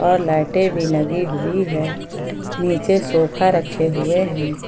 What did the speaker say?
और लाइटें भी लगी हुई है नीचे सोफा रखे हुए हैं।